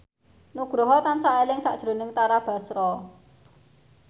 Nugroho tansah eling sakjroning Tara Basro